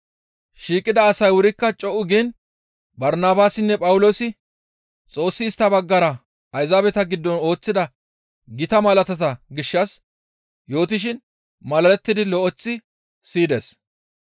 Shiiqida asay wurikka co7u giin Barnabaasinne Phawuloosi Xoossi istta baggara Ayzaabeta giddon ooththida gita malaatata gishshas yootishin malalettidi lo7eththi siyida.